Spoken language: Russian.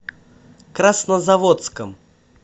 краснозаводском